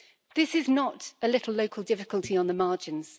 This is not a little local difficulty on the margins.